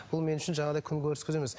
бұл мен үшін жаңағыдай күнкөріс көзі емес